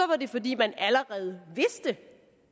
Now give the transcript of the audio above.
var det fordi man allerede vidste